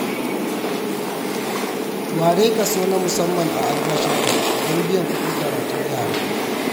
Ware kaso na musamman a albashinka don biyan kuɗin karatun yara.